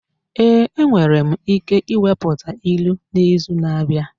Ee, enwere m ike ikwuputa ilu n'izu na-abịa.